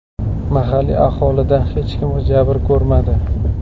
Mahalliy aholidan hech kim jabr ko‘rmadi.